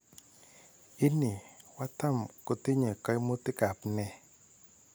Ini, wataam kotinye kaimutik ap nee?